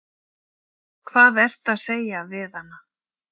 Hvað ertu að segja við hana?